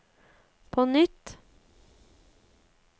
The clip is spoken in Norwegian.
på nytt